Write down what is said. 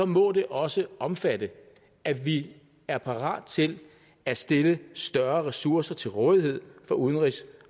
må det også omfatte at vi er parat til at stille større ressourcer til rådighed for udenrigs